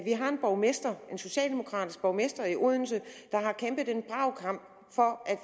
har en borgmester en socialdemokratisk borgmester i odense der har kæmpet en brav kamp for at